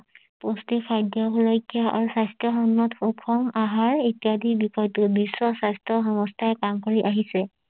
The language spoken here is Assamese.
পুষ্ঠি খাদ্য সুৰক্ষে আৰু স্বাস্থ্য সন্মত সুষম আহাৰ ইত্যাদি বিষয়টো বিশ্ব স্বাস্থ্য সংস্থাই কাম কৰি আহিছে